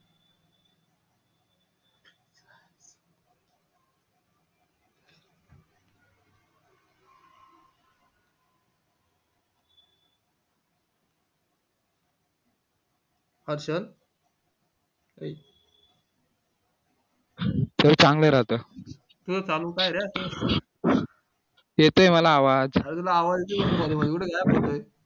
पचन चांगलं राहतं येतोय मला आवाज